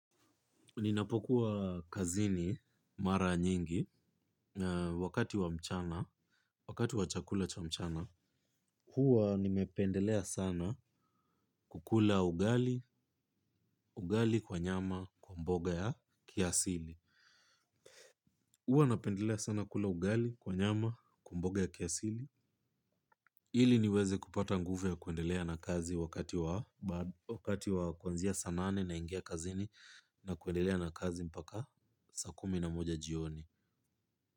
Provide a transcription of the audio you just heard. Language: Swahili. Ninapokuwa kazini mara nyingi wakati wa mchana, wakati wa chakula cha mchana, huwa nimependelea sana kukula ugali, ugali kwa nyama kwa mboga ya kiasili. Huwa napendelea sana kula ugali kwa nyama kwa mboga ya kiasili. Ili niweze kupata nguvu ya kuendelea na kazi wakati wa kwanzia saa nane naingia kazini na kuendelea na kazi mpaka saa kumi na moja jioni.